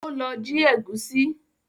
Ó lọ jí ẹ̀gúsí